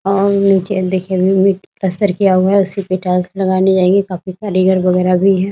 और नीचे देखने में पलस्टर किया हुआ है और उसी पे टाइल्स लगाई जायेंगी काफी कारीगर वगेरह भी हैं ।